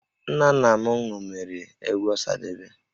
Nna nna m ṅomiri egwu Ọsadebe